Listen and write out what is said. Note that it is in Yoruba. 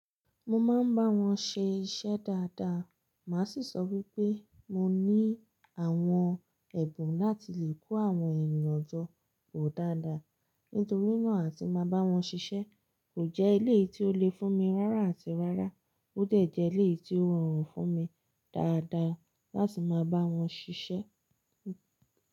Mo máa ń bá wọn ṣe iṣẹ́ dáadáa. Màá sì sọ wípé mo ní àwọn ẹ̀bùn láti lè kó àwọn ènìyàn jọ pọ̀ dáadáa. Nítorínà àti máa bá wọn ṣiṣẹ́. Kò jẹ́ eleyi tí ó le fún mi rárá àti rárá. Ó dẹ̀ jẹ́ eleyi tí ó rọrùn fún mi dáadáa láti máa bá wọn ṣiṣẹ́.